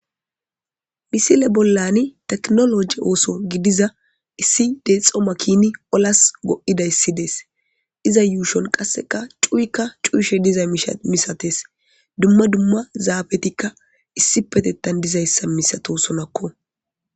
misile bollani teknoloji ooso gidiza issi deexoma kini olas go7idayssidees iza yuushon qasseka cuyikka cuushe diza misates dumma dumma zaabetikka issi petettan dizayssa misato sonakko